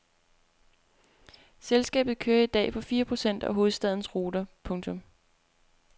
Selskabet kører i dag på fire procent af hovedstadens ruter. punktum